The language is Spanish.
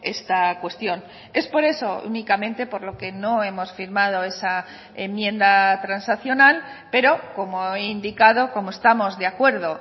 esta cuestión es por eso únicamente por lo que no hemos firmado esa enmienda transaccional pero como he indicado como estamos de acuerdo